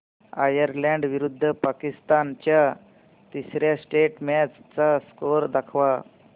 Ireland विरुद्ध पाकिस्तान च्या तिसर्या टेस्ट मॅच चा स्कोअर दाखवा